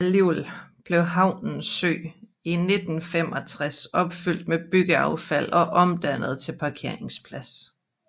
Alligevel blev havens sø i 1965 opfyldt med byggeaffald og omdannet til parkeringsplads